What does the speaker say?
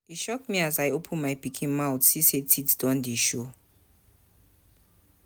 E shock me as I open my pikin mouth see sey teeth don dey show.